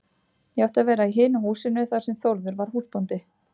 Ég átti að vera í hinu húsinu þar sem Þórður var húsbóndi.